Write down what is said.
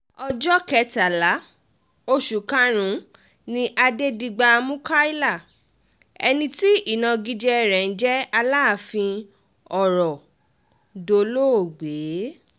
ọjọ́ kẹtàlá oṣù karùn-ún ni adẹ́digba mukaila ẹni tí ìnagijẹ rẹ̀ ń jẹ́ aláàfin ọ̀rọ̀ dolóògbé